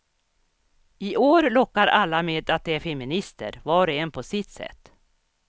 I år lockar alla med att de är feminister, var och en på sitt sätt.